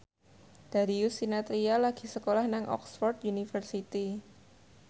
Darius Sinathrya lagi sekolah nang Oxford university